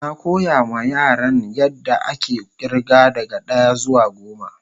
Na koya ma Yaran yan da ake irga daga daya zuwa goma.